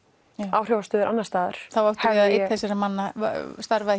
áhrifastöður annars staðar það hefur einn þessara manna starfað